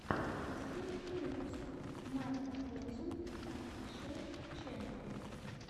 последний выпуск марта корзун офишиал ченнал